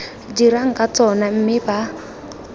dirang ka tsona mme ba